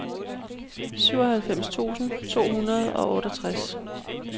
syvoghalvfems tusind to hundrede og otteogtres